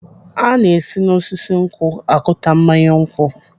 Ana esi n'osisi nkwụ akụta mmanya nkwụ.